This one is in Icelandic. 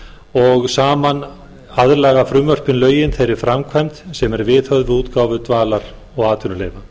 og saman aðlaga frumvörpin lögin þeirri framkvæmd sem er viðhöfð við útgáfu dvalar og atvinnuleyfa